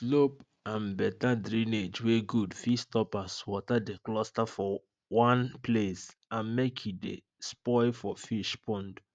slope and better drainage wey good fit stop as water de cluster for one place and make e de spoil for fish pond